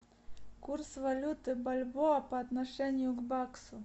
курс валюты бальбоа по отношению к баксу